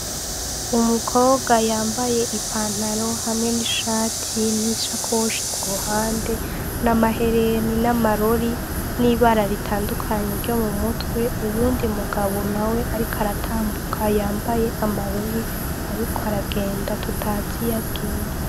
Umukobwa yambaye ipantaro hamwe n'ishati n'ishakoshi ku ruhande n'amahereni n'amarori n'ibara ritandukanye ryo mu mutwe, uyundi mugabo nawe ariko aratambuka yambaye amarori, ariko aragenda tutazi iyo agiye.